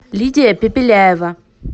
лидия пепеляева